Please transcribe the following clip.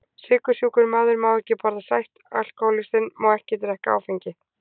Sykursjúkur maður má ekki borða sætt, alkohólistinn má ekki drekka áfengi.